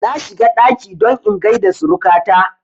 Na shiga ɗaki don in gaida suruka ta